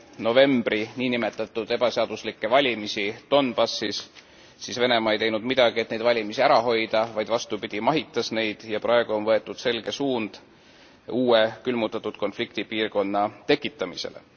novembri ebaseaduslikke valimisi Donbassis, siis Venemaa ei teinud midagi, et neid valimisi ära hoida, vaid vastupidi mahitas neid, ja praegu on võetud selge suund uue külmutatud konflikti piirkonna tekitamisele.